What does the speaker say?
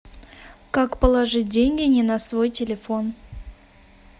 как положить деньги не на свой телефон